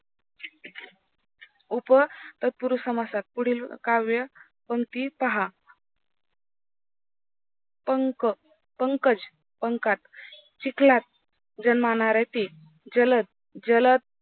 उपतत्पुरुस समासात पुढील काव्य पंक्ति पहा पंक, पंकज, पंकात, चिखलात, जन्मनाऱ्यातील, जलद, जलद.